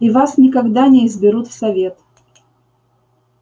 и вас никогда не изберут в совет